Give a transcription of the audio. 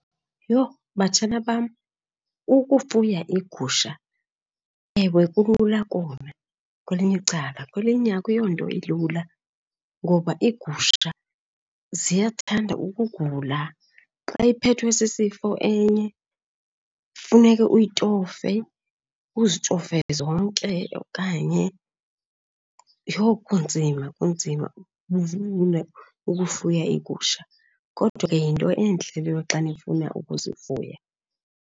Yho, batshana bam, ukufuya iigusha ewe kulula kona kwelinye icala, kwelinye akuyonto ilula ngoba iigusha ziyathanda ukugula. Xa iphethwe sisifo enye funeke uyitofe, uzitofe zonke okanye. Yho, kunzima, kunzima ukufuya iigusha kodwa yinto entle leyo xa nifuna ukuzifuya.